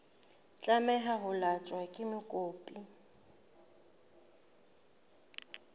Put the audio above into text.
tlameha ho tlatswa ke mokopi